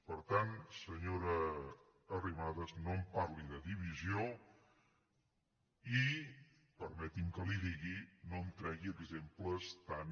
per tant senyora arrimadas no em parli de divisió i permeti’m que li ho digui no em tregui exemples tan